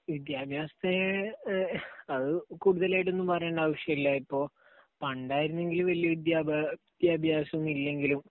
വിദ്യാഭ്യാസത്തെ എഹ് കൂടുതലായി ഒന്നും പറയേണ്ട കാര്യമില്ല. ഇപ്പൊ പണ്ടായിരുന്നെങ്കിൽ വല്യ വിദ്യാഭ്യാസമൊന്നുമില്ലെങ്കിലും